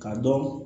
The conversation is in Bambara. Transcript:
K'a dɔn